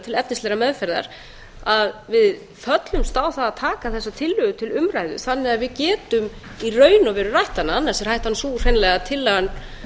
til efnislegrar meðferðar að við föllumst á að taka þessa tillögu til umræðu þannig að við getum í raun og veru rætt hana annars er hættan sú hreinlega að tillagan